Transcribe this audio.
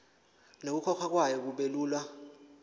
nokukhokhwa kwayo kubelula